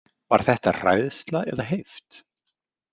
Var þetta hræðsla eða heift?